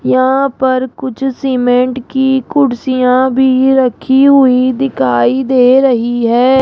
यहां पर कुछ सीमेंट की कुर्सियां भी रखी हुई दिखाई दे रही है।